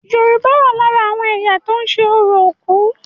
Yorùbá wà lára àwọn ẹ̀yà tó ń ṣe orò òkú.